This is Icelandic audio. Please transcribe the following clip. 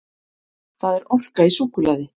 Það er orka í súkkulaði.